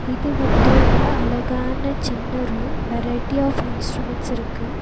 இது வந்து ஒரு அழகான சின்ன ரூம் வெரைட்டி ஆஃப் இன்ஸ்ட்ருமென்ட் இருக்கு.